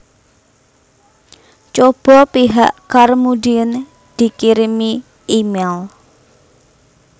Cobo pihak Carmudine dikirimi email